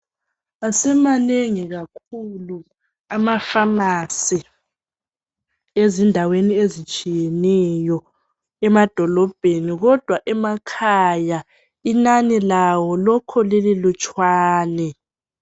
Asemanengi kakhulu amafamasi ezindaweni ezitshiyeneyo emadolobheni. Kodwa emakhaya inani lawo lokho lililutshwane